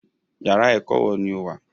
Yàrá ẹ̀kọ́ wo ni o wà?